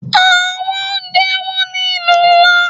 Àwọn oúnjẹ wón ní ìlú ńlá.